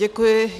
Děkuji.